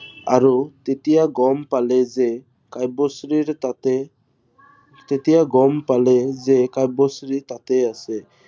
আৰু তেতিয়া গম পালে যে কাব্যশ্ৰীৰ তাতে। তেতিয়া গম পালে যে কাব্যশ্ৰী তাতে আছে